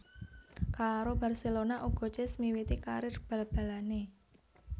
Karo Barcelona uga Cesc miwiti karir bal balanè